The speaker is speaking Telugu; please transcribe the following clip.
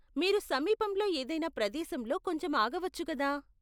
మీరు సమీపంలో ఏదైనా ప్రదేశంలో కొంచెం ఆగవచ్చు కదా?